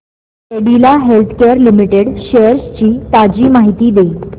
Cadila Healthcare Limited shares ची ताजी माहिती दे